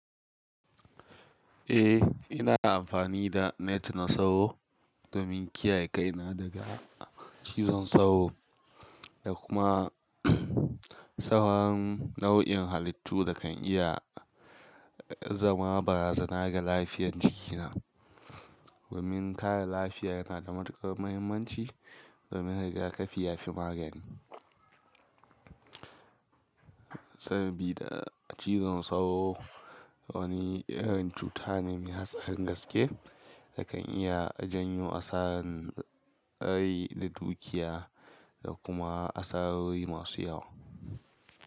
Eh, ina amfani da net na sauro domin kiyaye kaina daga cizon sauro da kuma sauran nau'in halittu da kan iya zama barazana ga lafiyar jikina. Domin kare lafiyar na da matukar muhimmanci domin rigakafi ya fi magani. Saboda cizon sauro wani irin cuta ne mai hatsarin gaske da kan iya janyo asaran rai da dukiya da kuma asarori masu yawa.